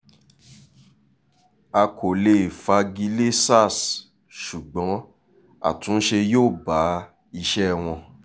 a kò lè fagi lé sars ṣùgbọ́n àtúnṣe yóò bá iṣẹ́ wọn